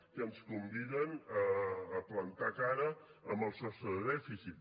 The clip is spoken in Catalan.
que ens conviden a plantar cara al sostre de dèficit